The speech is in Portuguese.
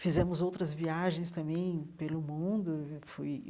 Fizemos outras viagens também pelo mundo fui.